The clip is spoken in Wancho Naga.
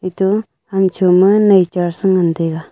eto ham cho nai chair sa ngan taiga.